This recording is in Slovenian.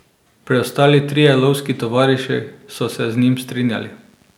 Preostali trije lovski tovariši so se z njim strinjali.